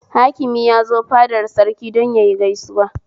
Hakimi ya zo fadar Sarki don yayi gaisuwa